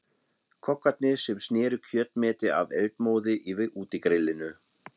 Kokkarnir sem sneru kjötmeti af eldmóði yfir útigrillinu.